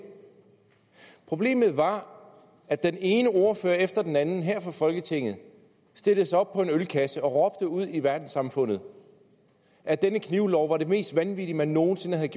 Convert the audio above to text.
problemet var at den ene ordfører efter den anden her fra folketinget stillede sig op på en ølkasse og råbte ud i verdenssamfundet at denne knivlov var det mest vanvittige man nogen sinde havde